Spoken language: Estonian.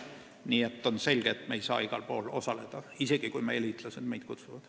Nii et on selge, et me ei saa igal pool osaleda, isegi kui meie liitlased meid kutsuvad.